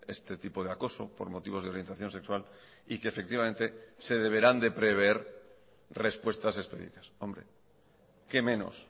este tipo de acoso por motivos de orientación sexual y que efectivamente se deberán de prever respuestas específicas hombre qué menos